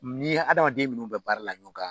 N'i hadamaden minnu bɛ baara la ɲɔgɔn kan